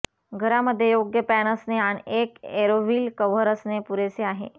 घरामध्ये योग्य पॅन असणे आणि एक एरोव्ह्रिल कव्हर असणे पुरेसे आहे